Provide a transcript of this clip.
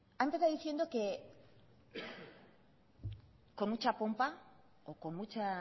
ha empezado diciendo que con mucha pompa o con mucha